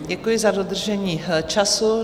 Děkuji za dodržení času.